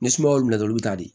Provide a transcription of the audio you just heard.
Ni sumaya y'o minɛ olu bɛ taa di